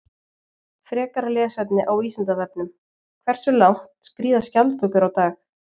Frekara lesefni á Vísindavefnum: Hversu langt skríða skjaldbökur á dag?